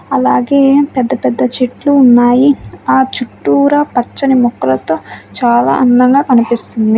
అలాగే పెద్ద పెద్ద చెట్లు ఉన్నాయి. ఆ చుట్టూరా పచ్చని మొక్కలతో చాలా అందంగా కనిపిస్తుంది.